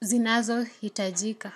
zinazo hitajika.